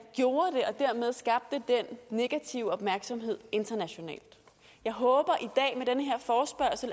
gjorde det og dermed skabte den negative opmærksomhed internationalt jeg håber